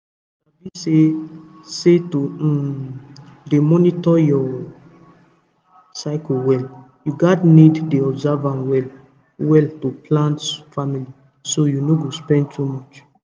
you sabi say say to um dey monitor your cycle well you gats need dey observe am well well to plan family so you no go spend much